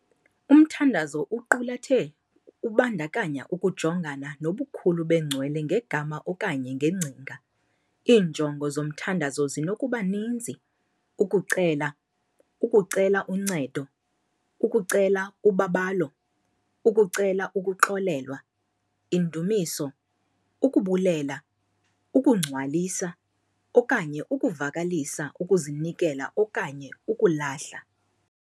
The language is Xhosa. Umthandazo iqulathe ubandakanya ukujongana nobukhulu bengcwele ngegama okanye ngengcinga, iinjongo zomthandazo zinokuba ninzi- ukucela, ukucela uncedo, ukucela ubabalo, ukucela ukuxolelwa, indumiso, ukubulela, ukungcwalisa, okanye ukuvakalisa ukuzinikela okanye ukulahla.